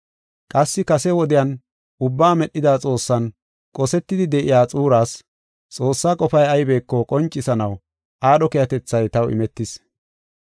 Qassi kase wodiyan ubbaa medhida Xoossan qosetidi de7iya xuuras, Xoossaa qofay aybeko qoncisanaw aadho keehatethay taw imetis.